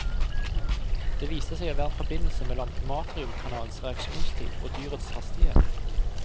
Det viste seg å være en forbindelse mellom matriumkanalenes reaksjonstid og dyrets hastighet.